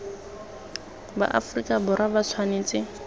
ba aferika borwa ba tshwanetse